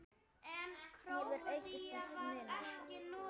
hefur aukist til muna.